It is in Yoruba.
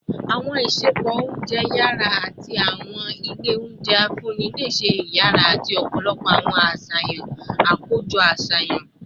Awọn isẹpo ounjẹ yara ati awọn ile ounjẹ nfunni ni iṣẹ iyara ati ọpọlọpọ awọn aṣayan akojọ aṣayan